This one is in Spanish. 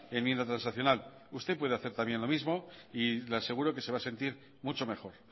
enmienda transaccional usted puede hacer también lo mismo y le aseguro que se va a sentir mucho mejor